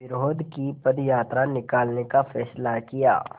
विरोध की पदयात्रा निकालने का फ़ैसला किया